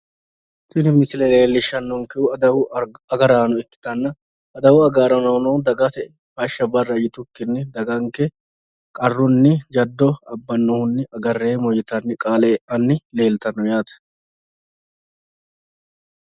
tini misile leellishshannonkehu adawu agaraano ikkitanna adawu agaraano dagate hashsha barra yitukkinni jaddo abbannohunni agarreemmo yuitaanni qaale e'anno yaate